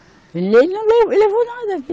Ele não le, levou nada.